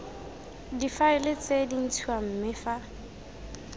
difaele tse dintshwa mme fa